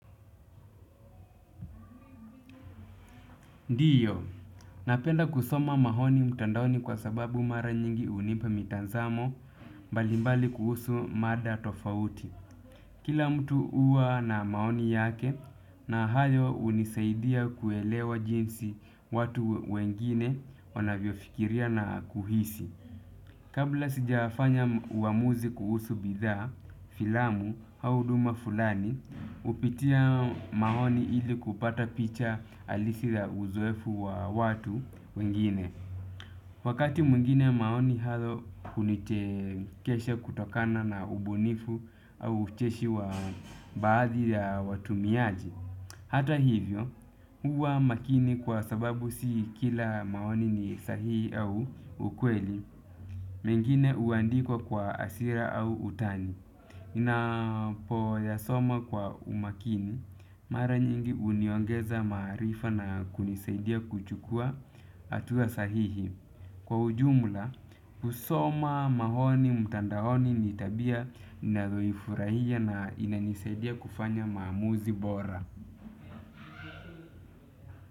Ndiyo, napenda kusoma maoni mtandaoni kwa sababu mara nyingi hunipa mitazamo mbalimbali kuhusu mada tofauti. Kila mtu huwa na maoni yake na hayo hunisaidia kuelewa jinsi watu wengine wanavyofikiria na kuhisi. Kabla sijafanya uamuzi kuhusu bidhaa, filamu au huduma fulani, hupitia maoni ili kupata picha halisi ya uzoefu wa watu wengine. Wakati mwingine maoni hayo kunichekesha kutokana na ubunifu au ucheshi wa baadhi ya watumiaji. Hata hivyo, huwa makini kwa sababu si kila maoni ni sahii au ukweli. Mengine huandikwa kwa hasira au utani. Inapo ya soma kwa umakini mara nyingi uniongeza maarifa na kunisaidia kuchukua hatua sahihi. Kwa ujumla, kusoma maoni mtandaoni nitabia nayoifurahia na inanisaidia kufanya maamuzi bora.